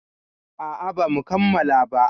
A a ba mu kammala ba.